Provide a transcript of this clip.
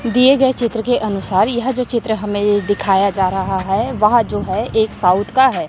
दिए गए चित्र के अनुसार यह जो चित्र हमें दिखाया जा रहा है वहां जो है एक साउथ का है।